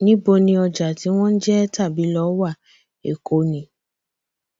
níbo ni ọjà tí wọn jẹ tàbí lọ wá èkó ni